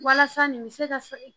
Walasa nin bɛ se ka